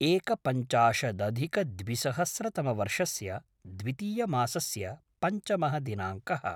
एकपञ्चाशदधिकद्विसहस्रतमवर्षस्य द्वितीयमासस्य पञ्चमः दिनाङ्कः